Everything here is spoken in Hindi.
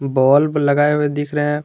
बल्ब लगाए हुए दिख रहे--